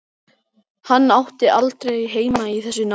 Hann átti aldrei heima í þessu námi.